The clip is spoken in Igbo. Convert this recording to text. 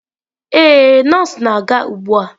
Ee, nọọsụ na-aga ugbu a.